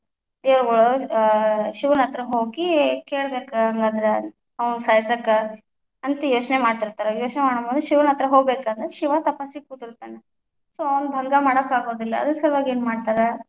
ದೇವಗಳ್‌ ಆ ಶಿವನ ಹತ್ರ ಹೋಗಿ ಕೇಳಬೇಕ ಹಂಗಂದ್ರ ಅವಂಗ ಸಾಯಸಾಕ, ಅಂತ ಯೋಚನೆ ಮಾಡತ್ತಿರ್ತಾರ, ಯೋಚನೆ ಮಾಡು ಮುಂದೆ ಮುಂದ ಶಿವನ ಹತ್ರ ಹೋಗ್ಬೇಕಂದ್ರ ಶಿವ ತಪಸ್ಸಿಗೆ ಕುತಿರ್ತಾನ so ಅವನ ಭಂಗ ಮಾಡಾಕ ಆಗೋದಿಲ್ಲ, ಅದರ ಸಲುವಾಗಿ ಏನ್ ಮಾಡ್ತಾರಾ?